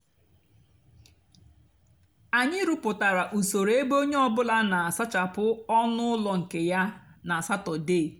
ányị rụpụtárá usoro ébé ónyé ọ bụlà nà-àsachapụ ónú úló nkè yá nà satọde.